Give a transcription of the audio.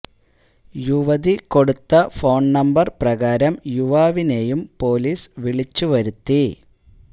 യുവതി കൊടുത്ത phone number പ്രകാരം യുവാവിനെയും പോലീസ് വിളിച്ചു വരുത്തി